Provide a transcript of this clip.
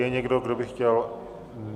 Je někdo, kdo by chtěl?